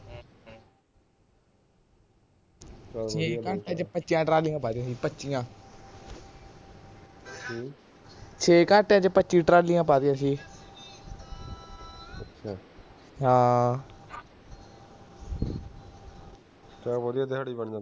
ਵਧੀਆ ਦਿਹਾੜੀ ਬਣ ਜਾਂਦੀ